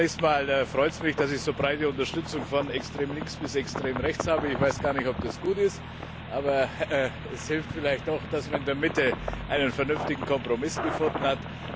Zunächst freut es mich, dass ich so breite Unterstützung von extrem links bis extrem rechts habe. Ich weiß gar nicht, ob das gut ist. Aber es hilft vielleicht doch, dass man in der Mitte einen vernünftigen Kompromiss gefunden hat.